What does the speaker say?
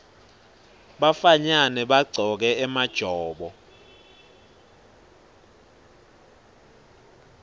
bafanyana bagcoke emajobo